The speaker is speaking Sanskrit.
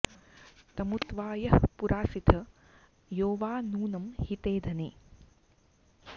तमु त्वा यः पुरासिथ यो वा नूनं हिते धने